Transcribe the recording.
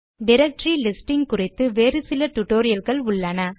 directory listing குறித்து வேறு சில டியூட்டோரியல் கள் உள்ளன